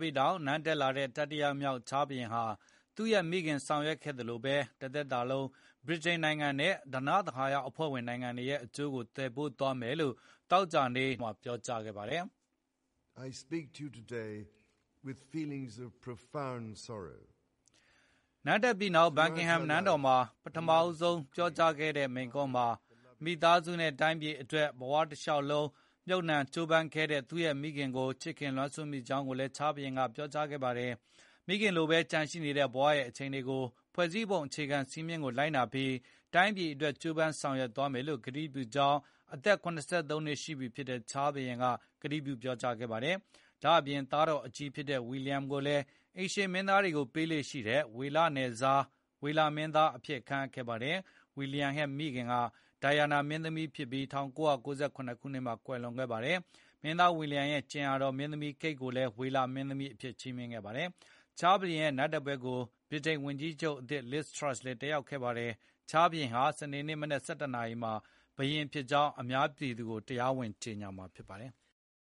ပြီးနောက် နန်းတက်လာတဲ့ တတိယမြောက်ချားလ်ဘုရင်ဟာ သူ့ရဲ့ မိခင်ဆောင်ရွက်ခဲ့သလို တသက်တာလုံး ဗြိတိန်နိုင်ငံနဲ့ ဓနသဟာရအဖွဲ့ဝင်နိုင်ငံတွေရဲ့ အကျိုးကို သယ်ပိုးသွားမယ်လို့ သောကြာနေ့က ပြောကြားခဲ့ပါတယ်။ နန်းတက်ပြီးနောက် Buckingham နန်းတော်မှာ ပထမဆုံး ပြောကြားတဲ့မိန့်ခွန်းမှာ မိသားစုနဲ့ တိုင်းပြည်အတွက် ဘဝတလျှောက်လုံးမြှုပ်နှံ ကြိုးပမ်းခဲ့တဲ့သူရဲ့မိခင်ကို ချစ်ခင်၊ လွမ်းဆွတ်မိကြောင်းကိုလည်း ချားလ်ဘုရင်က ပြောဆိုခဲ့ပါတယ်။ မိခင်လိုပဲ ကျန်ရှိနေတဲ့ဘဝရဲ့ အချိန်တွေကို ဖွဲ့စည်းပုံ အခြေခံစည်းမျဉ်းကို လိုက်နာပြီး တိုင်းပြည်အတွက် ကြိုးပမ်း ဆောင်ရွက်သွားမယ်လို့ ကတိပြုကြောင်း အသက် ၇၃ နှစ်ရှိပြီဖြစ်တဲ့ ချားလ်ဘုရင် က ကတိပြုပြောကြားခဲ့ပါတယ်။ ဒါ့အပြင် သားတော်အကြီးဖြစ်တဲ့ William ကိုလည်း အိမ်ရှေ့မင်းသားတွေကိုပေးလေ့ရှိတဲ့ ဝေလနယ်စား၊ ဝေလမင်းသားအဖြစ် ခန့်အပ်ခဲ့ပါတယ်။ William ရဲ့မိခင်ဟာ ဒိုင်ယာနာမင်းသမီးဖြစ်ပြီး ၁၉၉၇ ခုနှစ်မှာကွယ်လွန်ခဲ့ပါတယ်။ မင်းသား William ရဲ့ ကြင်ယာတော် မင်းသမီး Kate ကိုလည်း ဝေလမင်းသမီးအဖြစ် ချီးမြှင့်ခဲ့ပါတယ်။ ချားလ်ဘုရင်ဟာ ဗြိတိန်ဝန်ကြီးချုပ်အသစ် Liz Truss ကို ပထမဦးဆုံးအကြိမ် လက်ခံတွေ့ဆုံခဲ့ပါတယ်။ ချားလ် ဟာ ဘုရင်ဖြစ်ကြောင်း စနေနေ့ မနက် ၁၁ နာရီမှာ အများပြည်သူကို တရားဝင်ကြေညာမှာ ဖြစ်ပါတယ်။